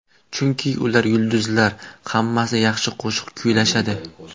Chunki ular yulduzlar, hammasi yaxshi qo‘shiq kuylashadi.